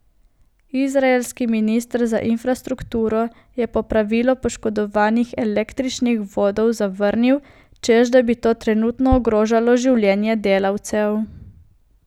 Izraelski minister za infrastrukturo je popravilo poškodovanih električnih vodov zavrnil, češ da bi to trenutno ogrožalo življenje delavcev.